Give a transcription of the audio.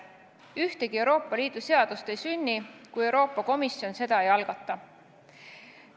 Ühtegi Euroopa Liidu seadust ei sünni, kui Euroopa Komisjon seda ei algata.